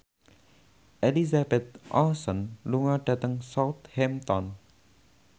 Elizabeth Olsen lunga dhateng Southampton